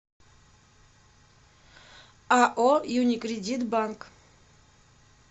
ао юникредит банк